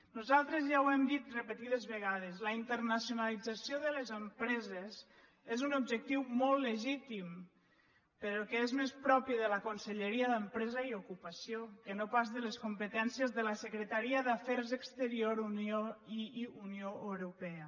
nosaltres ja ho hem dit repetides vegades la internacionalització de les empreses és un objectiu molt legítim però que és més propi de la conselleria d’empresa i ocupació que no pas de les competències de la secretaria d’afers exteriors i unió europea